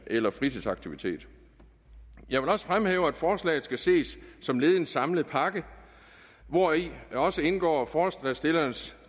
eller fritidsaktiviteter jeg vil også fremhæve at forslaget skal ses som led i en samlet pakke hvori også indgår forslagsstillernes